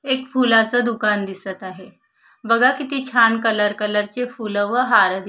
एक फुलाचं दुकान दिसत आहे बघा किती छान कलर कलर चे फुलं व हार दिसत आहे.